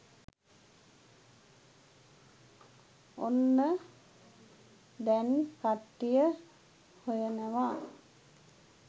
ඔන්න දැන් කට්ටිය හොයනවා